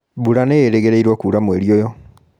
mbura nĩĩrĩgĩrĩirũo kura mweri ũyũ